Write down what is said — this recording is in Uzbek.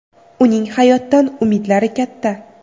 Uning hayotdan umidlari katta.